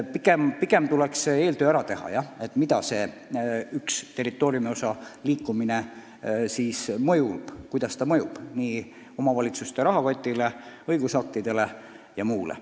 Tuleb ära teha eeltöö selgitamaks, kuidas ühe territooriumiosa liikumine mõjub – kuidas see mõjub omavalitsuste rahakotile, õigusaktidele ja muule.